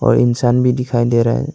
और इंसान भी दिखाई दे रहा है।